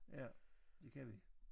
Ja det kan vi